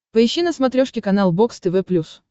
поищи на смотрешке канал бокс тв плюс